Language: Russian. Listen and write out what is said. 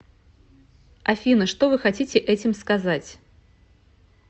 афина что вы хотите этим сказать